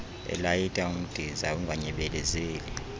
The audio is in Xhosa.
elayita umdiza unganyebelezeli